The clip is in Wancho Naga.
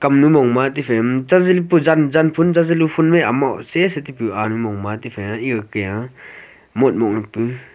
komnyu mongma tifai janfun chali chali ga motmok pu.